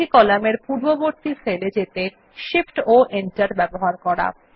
একটি কলামের পূর্ববর্তী সেল এ যেতে Shift ও Enter ব্যবহার করা